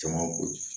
Jama ko